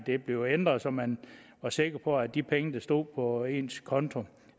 blev ændret så man var sikker på at de penge der stod på ens konto